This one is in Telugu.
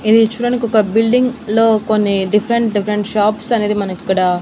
ఇది చూడడానికి ఒక బిల్డింగ్ లో కొన్ని డిఫరెంట్ డిఫరెంట్ షాప్స్ అనేది మనకు ఇక్కడ--